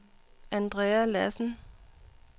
Andrea Lassen